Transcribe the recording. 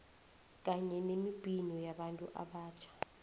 kanye nemibhino yabantu abatjha